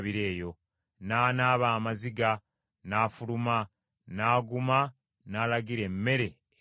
N’anaaba amaziga n’afuluma, n’aguma n’alagira emmere egabwe.